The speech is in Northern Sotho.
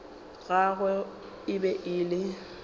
gagwe e be e le